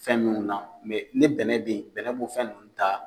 Fɛn minnu na ni bɛnɛ be yen bɛnɛ b'o fɛn nunnu ta